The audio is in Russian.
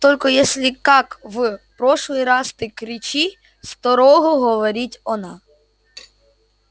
только если как в прошлый раз ты кричи строгого говорить она